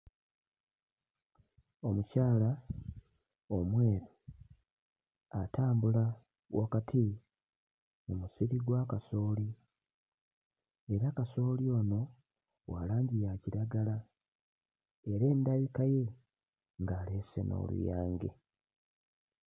Omukyala omweru atambula wakati mu musiri gwa kasooli era kasooli ono wa langi ya kiragala era endabika ye ng'aleese n'oluyange.